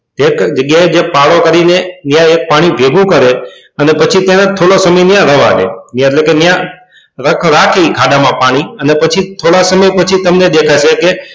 એક જ જગ્યાએ છે ત્યાં પાણીને ભેગું કરે પાડો કરીને અને પછી થોડો મહિના ત્યાં રહેવા દે એટલે કે ત્યાં રાખી ખાડામાં પાણી અને પછી થોડાક દી પછી તમને દેખાશે કે,